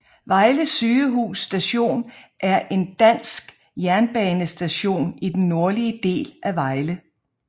Vejle Sygehus Station er en dansk jernbanestation i den nordlige del af Vejle